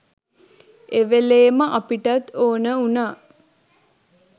එවෙලෙම අපිටත් ඕන වුනා